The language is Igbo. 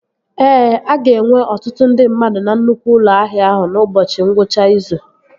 Ee, a ga-enwe ọtụtụ ndị mmadụ na nnukwu ụlọ ahịa ahụ n'ụbọchị ngwụcha izu